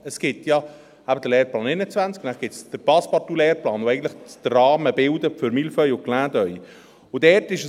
Es gibt ja den Lehrplan 21, und dann gibt es den Passepartout-Lehrplan, der eigentlich den Rahmen für «Mille feuilles» und «Clin d’œil» bildet.